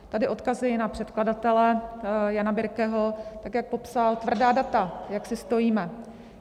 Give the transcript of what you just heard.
Tady odkazuji na předkladatele Jana Birkeho, tak jak popsal tvrdá data, jak si stojíme.